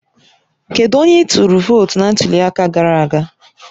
Kedu onye ị tụrụ vootu na ntuli aka gara aga?